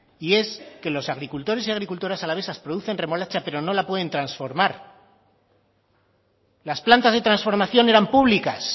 y es que los agricultores y agricultoras alavesas producen remolacha pero no la pueden transformar las plantas de transformación eran públicas